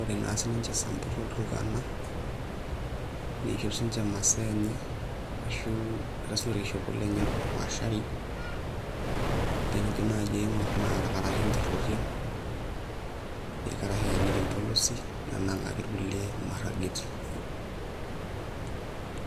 ore naa sininche Isamburr o Ilturukana niishop siinche imasaa enye ashu eeta siinche orkishopo lenye opaashari naa tenijo naai aing'orr naa irkarash errorian, irkarash eeniki impolosi nenang'aki irkulie imaragieti.